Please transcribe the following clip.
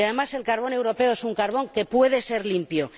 Además, el carbón europeo es un carbón que puede ser limpio.